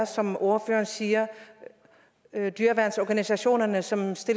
som ordføreren siger dyreværnsorganisationerne som